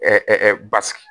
basigi